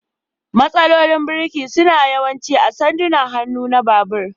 Matsalolin birki suna yawanci a sandunan hannu na babur.